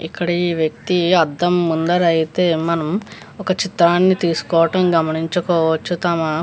ఇక్కడ ఈ వ్యక్తి అద్దం ముందర అయితే మనము ఒక చిత్రాన్ని తీసుకోటం గమనించుకోవచ్చు. తమ --